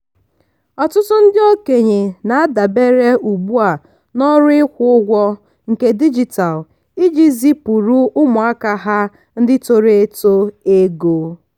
ọtụtụ ndị okenye na-adabere ugbu a na ọrụ ịkwụ ụgwọ nke dijitalụ iji zipuru ụmụaka ha ndị toro eto ego.